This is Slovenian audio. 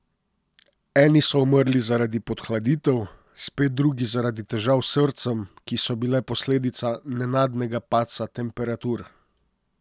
Eni so umrli zaradi podhladitev, spet drugi zaradi težav s srcem, ki so bile posledica nenadnega padca temperatur.